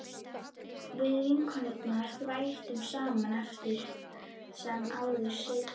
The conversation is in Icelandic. Við vinkonurnar þvældumst saman eftir sem áður í Sigtún